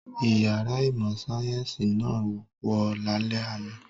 Ìyàrá ìmọ̀-sáyẹ́ńsì náà wó lálẹ́ àná.